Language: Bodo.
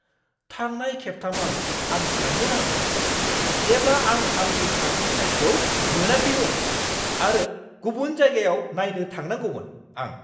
थांनाय खेबथामआव आं साननो नांगौमोन, जेब्ला आं आंनि शार्टनि साइजखौ मोनाखैमोन आरो गुबुन जायगायाव नायनो थांनांगौमोन! (आं)